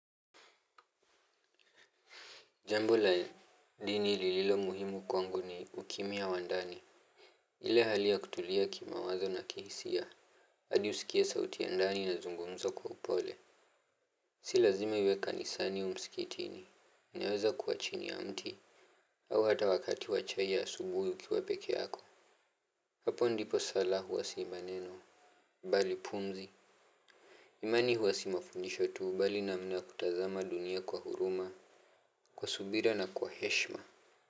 Jambo la dini lililo muhimu kwangu ni ukimya wa ndani. Ile hali ya kutulia kimawazo na kihisia hadi usikie sauti ya ndani inazungumza kwa upole. Si lazime iwe kanisani au msikitini, inaweza kuwa chini ya mti. Au hata wakati wa chai ya asubuhi ukiwa pekee yako. Hapo ndipo sala huwasi maneno. Balipumzi. Imani huwasi mafunisho tuu bali na mna kutazama dunia kwa huruma. Kwa subira na kwa heshma Muzika.